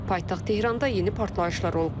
Paytaxt Tehranda yeni partlayışlar olub.